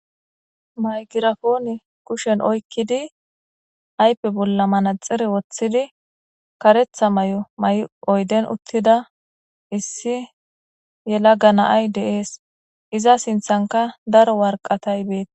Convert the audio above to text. maygirafoone kushen oykkidi aype bolla manaxire woththidi karetha may7o may7 oyden uttida issi yela gana7ay deees iza sinthanka daro warqatay beet